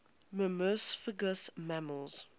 myrmecophagous mammals